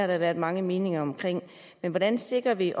der været mange meninger om men hvordan sikrer vi